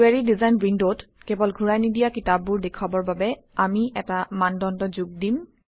query design উইণ্ডত কেৱল ঘূৰাই নিদিয়া কিতাপবোৰ দেখুৱাবৰ বাবে আমি এটা মানদণ্ড যোগ দিম